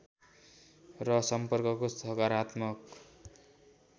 र सम्पर्कको सकारात्मक